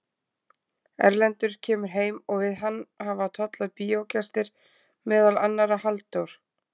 Erlendur kemur heim og við hann hafa tollað bíógestir, meðal annarra Halldór